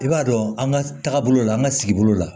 I b'a dɔn an ka taagabolo la an ka sigibolo la